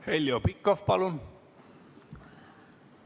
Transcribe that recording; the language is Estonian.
Heljo Pikhof, palun!